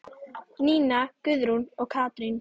Nína Guðrún og Katrín.